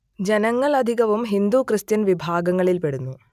ജനങ്ങൾ അധികവും ഹിന്ദു ക്രിസ്ത്യൻ വിഭാഗങ്ങളിൽ പെടുന്നു